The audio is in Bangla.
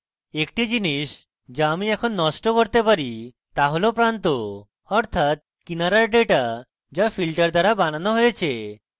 একটি জিনিস the আমি এখন নষ্ট করতে পারি the has প্রান্ত অর্থাৎ কিনারার ডেটা the filter দ্বারা বানানো হয়েছে